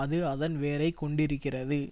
அது அதன் வேரைக் கொண்டிருக்கிறது